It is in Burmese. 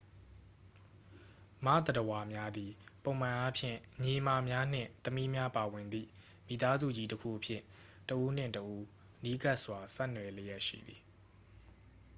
မသတ္တဝါများသည် ပုံမှန်အားဖြင့် ညီအစ်မများနှင့် သမီးများပါဝင်သည့် မိသားစုကြီးတစ်ခုအဖြစ် တစ်ဦးနှင့် တစ်ဦး နီးကပ်စွာ ဆက်နွယ်လျက်ရှိသည်